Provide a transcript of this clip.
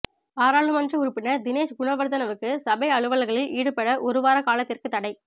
பாராளுமன்ற உறுப்பினர் தினேஷ் குணவர்தனவுக்கு சபை அலுவல்களில் ஈடுபட ஒரு வார காலத்திற்கு தடை